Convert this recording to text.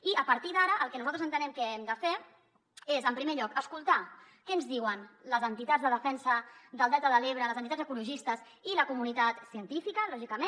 i a partir d’ara el que nosaltres entenem que hem de fer és en primer lloc escoltar què ens diuen les entitats de defensa del delta de l’ebre les entitats ecologistes i la comunitat científica lògicament